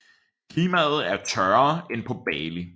Klimaet er tørrere end på Bali